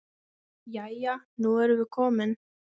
Jæja, nú erum við komin.